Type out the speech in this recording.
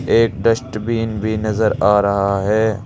एक डस्टबिन भी नजर आ रहा है।